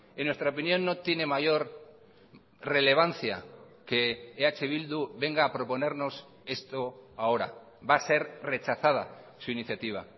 en nuestra opinión no tiene mayor relevancia que eh bildu venga a proponernos esto ahora va a ser rechazada su iniciativa